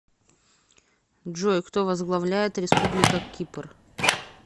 джой кто возглавляет республика кипр